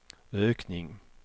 ökning